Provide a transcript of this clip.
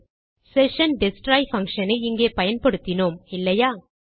session destroy function ஐ இங்கே பயன்படுத்தினோம் இல்லையா